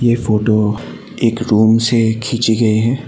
ये फोटो एक रूम से खींची गई है।